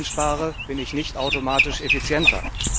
Wenn ich einspare, bin ich nicht automatisch effizienter.